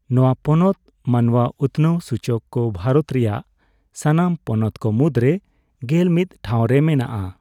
ᱱᱚᱣᱟ ᱯᱚᱱᱚᱛ ᱢᱟᱱᱣᱟ ᱩᱛᱱᱟᱹᱣ ᱥᱩᱪᱚᱠ ᱠᱚ ᱵᱷᱟᱨᱚᱛ ᱨᱮᱭᱟᱜ ᱥᱟᱱᱟᱢ ᱯᱚᱱᱚᱛ ᱠᱚ ᱢᱩᱫᱽ ᱨᱮ ᱜᱮᱞᱢᱤᱫ ᱴᱷᱟᱣ ᱨᱮ ᱢᱮᱱᱟᱜᱼᱟ ᱾